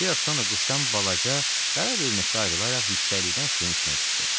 Bir az sonra quşdan balaca, qara bir nöqtə ayrılaraq yüksəklikdən suyun üstünə düşdü.